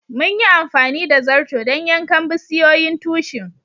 Mun yi amfani da zarto dan yankan bisiyoyin tushin.